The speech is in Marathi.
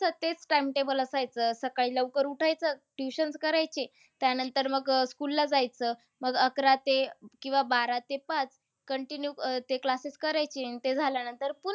तेच timetable असायचं. सकाळी लवकर उठायचं. Tutions करायचे. त्यानंतर मग अह school ला जायचं. मग अकरा ते किंवा बारा ते पाच, continue अह ते classes करायचे. आणि ते झाल्यानंतर पुन्हा